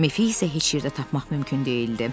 Mefi isə heç yerdə tapmaq mümkün deyildi.